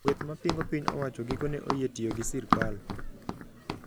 Kweth mapingo piny owacho gikone oyie tiyo gi sirkal